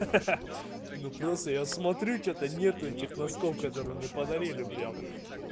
ха-ха-ха ну просто я смотрю что-то нету этих носков которые мне подарили прям